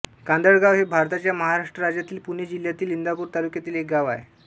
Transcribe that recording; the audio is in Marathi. कांदळगाव हे भारताच्या महाराष्ट्र राज्यातील पुणे जिल्ह्यातील इंदापूर तालुक्यातील एक गाव आहे